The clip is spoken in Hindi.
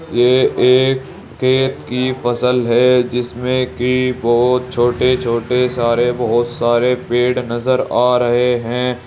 ये एक खेत की फसल है जिसमें की बहोत छोटे छोटे सारे बहोत सारे पेड़ नजर आ रहे है।